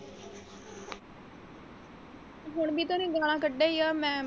ਹੁਣ ਵੀ ਤਾਂ ਉਹਨੂੰ ਗਾਨਾ ਕੱਡਦਾ ਹੀ ਆ ਮੈਂ।